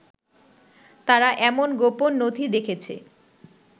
তারা এমন গোপন নথি দেখেছে